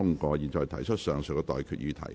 我現在向各位提出上述待決議題。